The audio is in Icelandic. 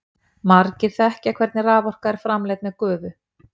Margir þekkja hvernig raforka er framleidd með gufu.